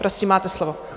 Prosím, máte slovo.